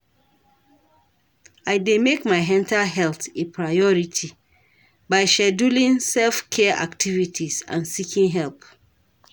I dey make my mental health a priority by scheduling self-care activities and seeking help.